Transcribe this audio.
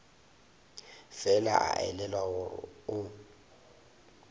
fela a elelwa gore o